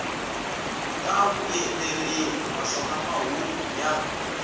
ta vuyeleriwa naswona mahungu ya